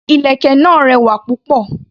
Ìlẹ̀kẹ̀ náà rẹwà púpọ̀.